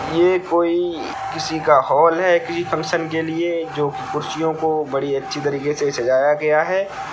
ये कोई किसी का हॉल है किसी फंक्शन के लिए जो कुर्सियों को बडी अच्छी तरीके से सजाया गया है।